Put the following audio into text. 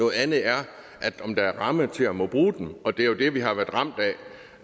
noget andet er om der er en ramme til at måtte bruge dem det er jo det vi har været ramt af